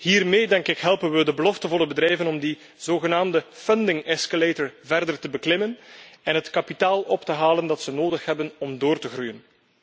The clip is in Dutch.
Hiermee, denk ik, helpen we de beloftevolle bedrijven om die zogenaamde financieringsladder verder te beklimmen en het kapitaal op te halen dat ze nodig hebben om door te groeien.